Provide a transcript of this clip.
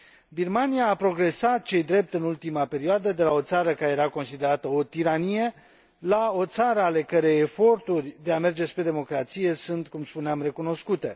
Birmania a progresat, ce i drept, în ultima perioadă, de la o țară care era considerată o tiranie, la o țară ale cărei eforturi de a merge spre democrație sunt, cum spuneam, recunoscute.